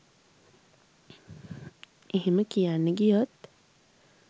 එහෙම කියන්න ගියොත්